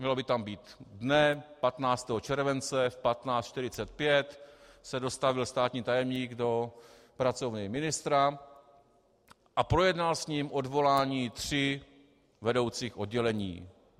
Mělo by tam být: Dne 15. července v 15.45 se dostavil státní tajemník do pracovny ministra a projednal s ním odvolání tří vedoucích oddělení.